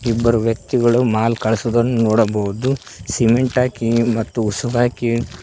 ಇಬ್ಬರು ವ್ಯಕ್ತಿಗಳು ಮಾಲ್ ಕಳಸುದನ್ನು ನೋಡಬಹುದು ಸಿಮೆಂಟ್ ಹಾಕಿ ಮತ್ತು ಉಸುಗ್ ಹಾಕಿ--